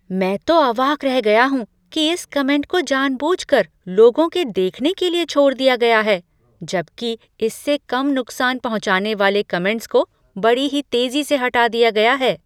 मैं तो अवाक रह गया हूँ कि इस कमेंट को जानबूझकर लोगों के देखने के लिए छोड़ दिया गया है, जबकि इससे कम नुकसान पहुँचाने वाले कमेंट्स को बड़ी ही तेज़ी से हटा दिया गया है।